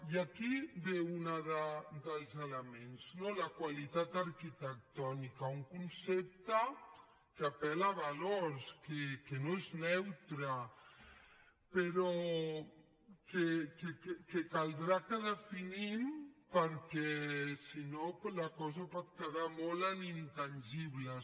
i aquí ve un dels elements no la qualitat arquitectònica un concepte que apel·la a valors que no és neutre però que caldrà que definim perquè si no la cosa pot quedar molt en intangibles